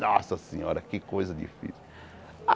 Nossa senhora, que coisa difícil.